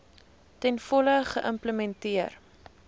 ten volle geïmplementeer